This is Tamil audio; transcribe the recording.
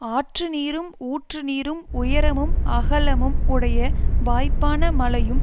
ஆற்றுநீரும் ஊற்றுநீரும் உயரமும் அகலமும் உடைய வாய்ப்பான மலையும்